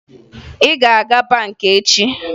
Ị ga-aga hụ banka echi!